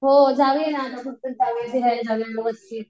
हो जाऊया ना जाऊया